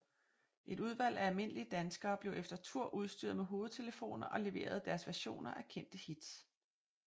Et udvalg af almindelige danskere blev efter tur udstyret med hovedtelefoner og leverede deres versioner af kendte hits